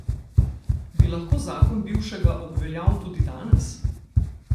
Bi lahko zakon bivšega obveljal tudi danes?